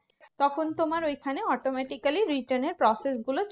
তখন তোমার ঐখানে automatically return এর process গুলো